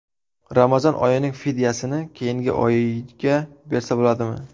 Ramazon oyining fidyasini keyingi oyga bersa bo‘ladimi?.